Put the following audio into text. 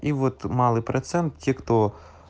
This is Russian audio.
и вот малый процент тех кто